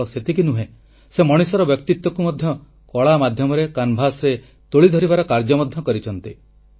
କେବଳ ସେତିକି ନୁହେଁ ସେ ମଣିଷର ବ୍ୟକ୍ତିତ୍ୱକୁ ମଧ୍ୟ ତୈଳଚିତ୍ର ମାଧ୍ୟମରେ କାନଭାସ୍ ରେ ପ୍ରତିଫଳିତ କରି ଧରିବାର କାର୍ଯ୍ୟ ମଧ୍ୟ କରିଛନ୍ତି